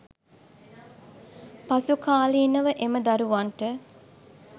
පසුකාලීනව එම දරුවන්ට